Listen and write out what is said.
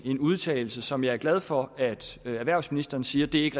en udtalelse som jeg er glad for at erhvervsministeren siger ikke